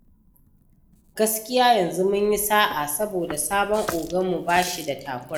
Gaskiya yanzu mun yi sa’a, saboda sabon oganmu ba shi da takura.